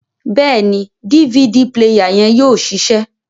Bẹẹni, DVD player yẹn yóò ṣiṣẹ